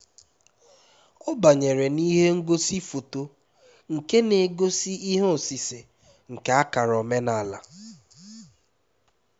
ọ banyere n'ihe ngosi foto nke na-egosi ihe osise nke akara omenala